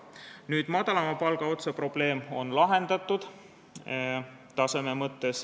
Skaala madalama palgaga otsa probleem on taseme mõttes lahendatud.